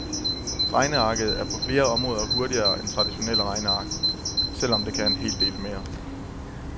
Regnearket er på flere områder hurtigere end traditionelle regneark, selv om det kan en hel del mere.